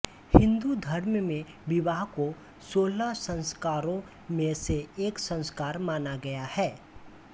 हिन्दू धर्म में विवाह को सोलह संस्कारों में से एक संस्कार माना गया है